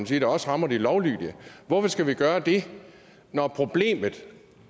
sige der også rammer de lovlydige hvorfor skal vi gøre det når problemet